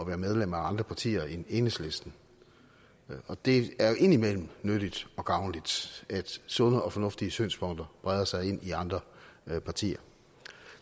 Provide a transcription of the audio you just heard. være medlemmer af andre partier end enhedslisten og det er jo indimellem nyttigt og gavnligt at sunde og fornuftige synspunkter breder sig ind i andre partier